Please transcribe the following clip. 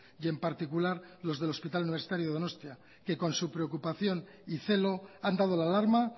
y en particular los del hospital universitario donostia que con su preocupación y celo han dado la alarma